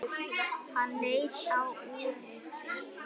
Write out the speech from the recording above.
Hann leit á úrið sitt.